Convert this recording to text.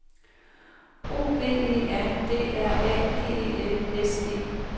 O V E R D R A G E L S E